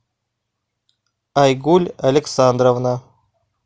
айгуль александровна